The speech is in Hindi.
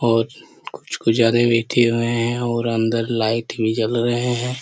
और कुछ-कुछ बैठे हुए है और अन्दर लाइट भी जल रहे है।